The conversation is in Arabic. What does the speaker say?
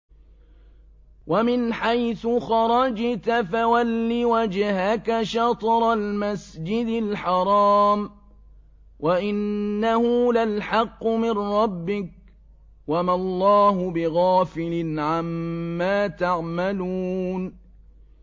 وَمِنْ حَيْثُ خَرَجْتَ فَوَلِّ وَجْهَكَ شَطْرَ الْمَسْجِدِ الْحَرَامِ ۖ وَإِنَّهُ لَلْحَقُّ مِن رَّبِّكَ ۗ وَمَا اللَّهُ بِغَافِلٍ عَمَّا تَعْمَلُونَ